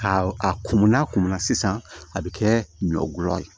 Ka a kun mun n'a kun munna sisan a bɛ kɛ ɲɔ ye